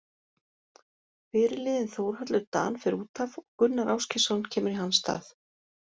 Fyrirliðinn Þórhallur Dan fer útaf og Gunnar Ásgeirsson kemur í hans stað.